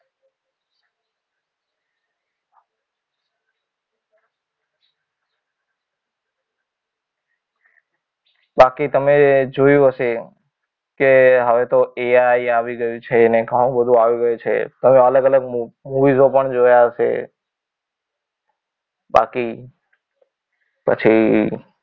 બાકી તમે જોયું હશે. કે હવે તો AI આવી ગયું છે. ને ઘણું બધું આવી ગયું છે. પણ અલગ અલગ મુવી શો પણ જોયા હશે. બાકી પછી